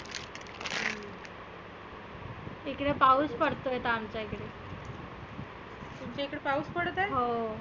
इकडे पाऊस पडतो आहे आता आमच्या इकडे. तुमच्या इकडे पाऊस पडतो आहे? हो.